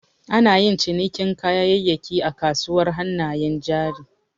Anayin cinikin kayayyaki a kasuwar hannayen jari.